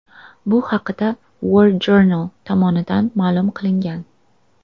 Bu haqda WarJournal tomonidan ma’lum qilingan .